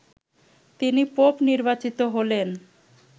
তিনি পোপ নির্বাচিত হলেন